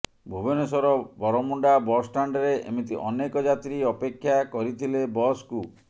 Bhubaneswar Baramunda bus ଷ୍ଟାଣ୍ଡରେ ଏମିତି ଅନେକ ଯାତ୍ରୀ ଅପେକ୍ଷା କରିଥିଲେ ବସକୁ